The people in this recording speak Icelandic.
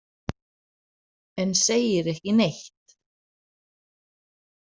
En segir ekki neitt.